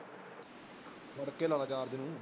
ਖੜ ਕੇ ਲਾ ਚਾਰਜਰ ਇਹਨੂੰ